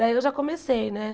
Daí eu já comecei, né?